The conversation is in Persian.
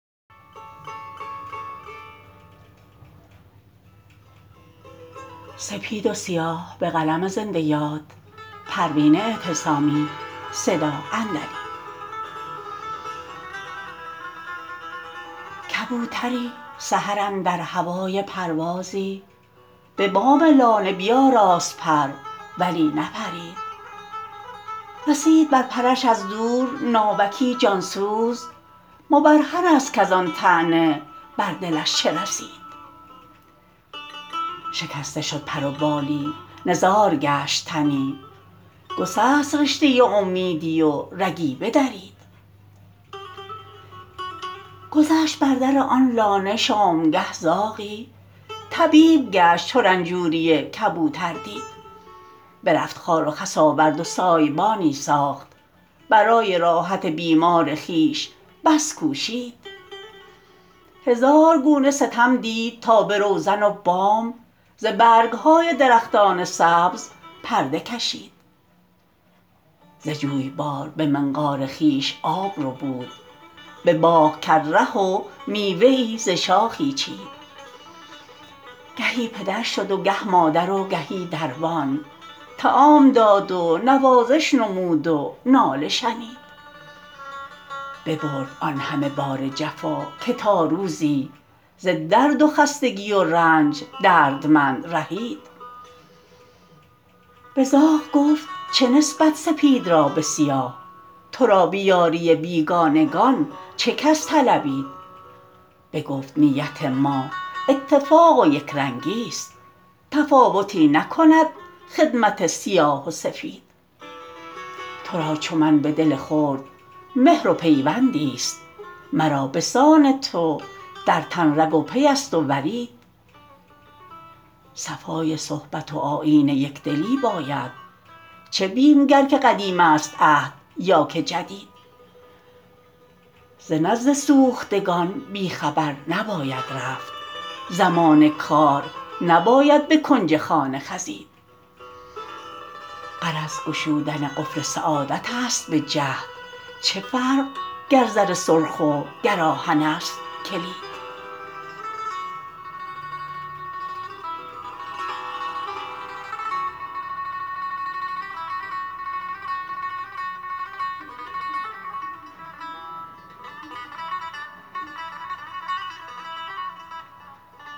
کبوتری سحر اندر هوای پروازی به بام لانه بیاراست پر ولی نپرید رسید بر پرش از دور ناوکی جانسوز مبرهن است کازان طعنه بر دلش چه رسید شکسته شد پر و بالی نزار گشت تنی گسست رشته امیدی و رگی بدرید گذشت بر در آن لانه شامگه زاغی طبیب گشت چو رنجوری کبوتر دید برفت خار و خس آورد و سایبانی ساخت برای راحت بیمار خویش بس کوشید هزار گونه ستم دید تا به روزن و بام ز برگ های درختان سبز پرده کشید ز جویبار به منقار خویش آب ربود به باغ کرد ره و میوه ای ز شاخه چید گهی پدر شد و گه مادر و گهی دربان طعام داد و نوازش نمود و ناله شنید ببرد آن همه بار جفا که تا روزی ز درد و خستگی و رنج دردمند رهید به زاغ گفت چه نسبت سپید را به سیاه ترا به یاری بیگانگان چه کس طلبید بگفت نیت ما اتفاق و یکرنگی ست تفاوتی نکند خدمت سیاه و سفید ترا چو من به دل خرد مهر و پیوندی ست مرا بسان تو در تن رگ و پی است و ورید صفای صحبت و آیین یکدلی باید چه بیم گر که قدیم است عهد یا که جدید ز نزد سوختگان بی خبر نباید رفت زمان کار نباید به کنج خانه خزید غرض گشودن قفل سعادت است به جهد چه فرق گر زر سرخ و گر آهن است کلید